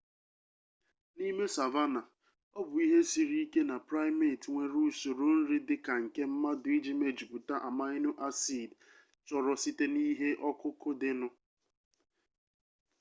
n'ime savanna ọ bụ ihe siri ike na primate nwere usoro nri dị ka nke mmadụ iji mejupụta amino-acid chọrọ site na ihe ọkụkụ dịnụ